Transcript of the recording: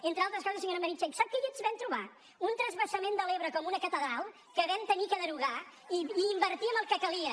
entre altres coses senyora meritxell sap què ens vam trobar un transvasament de l’ebre com una catedral que vam haver de derogar i invertir en el que calia